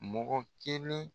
Mɔgɔ kelen